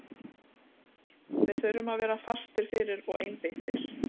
Við þurfum að vera fastir fyrir og einbeittir.